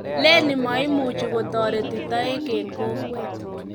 leni maimuchi kotoretu toek eng kokwet